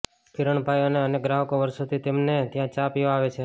કિરણભાઈના અનેક ગ્રાહકો વર્ષોથી તેમને ત્યાં ચા પીવા આવે છે